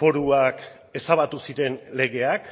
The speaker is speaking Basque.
foruak ezabatu ziren legeak